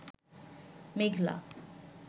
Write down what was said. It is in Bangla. মেঘলা